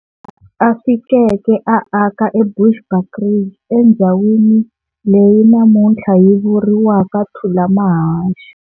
A fikeke a aka eBushbuckridge, endzhawini elyi namunthla yi vuriwaka Thulamahashe.